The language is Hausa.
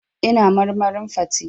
Ina marmarin fate.